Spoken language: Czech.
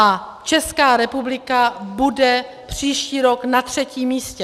A Česká republika bude příští rok na třetím místě.